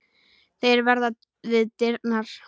Þeir verða við dyrnar.